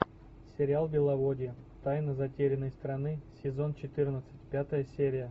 сериал беловодье тайна затерянной страны сезон четырнадцать пятая серия